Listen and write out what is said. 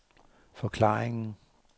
forklaringen